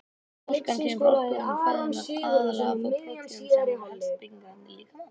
Orkan kemur úr orkuefnum fæðunnar, aðallega þó prótínum sem eru helstu byggingarefni líkamans.